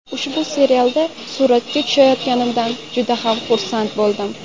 Ushbu serialda suratga tushayotganimdan juda ham xursand bo‘ldim.